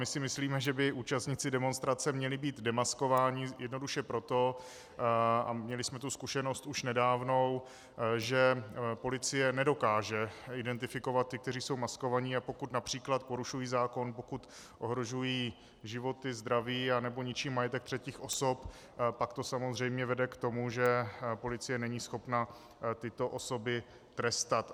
My si myslíme, že by účastníci demonstrace měli být demaskovaní, jednoduše proto, a měli jsme tu zkušenost už nedávnou, že policie nedokáže identifikovat ty, kteří jsou maskováni, a pokud například porušují zákon, pokud ohrožují životy, zdraví nebo ničí majetek třetích osob, pak to samozřejmě vede k tomu, že policie není schopna tyto osoby trestat.